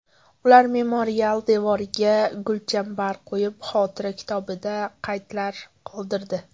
Ular memorial devoriga gulchambar qo‘yib, xotira kitobida qaydlar qoldirdi.